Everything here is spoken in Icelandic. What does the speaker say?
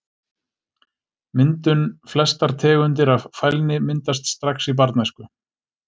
Myndun Flestar tegundir af fælni myndast strax í barnæsku.